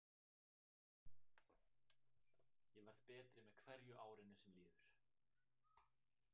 Ég verð betri með hverju árinu sem líður.